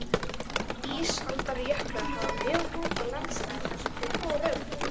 Ísaldarjöklar hafa mjög mótað landslag þar sem þeir fóru um.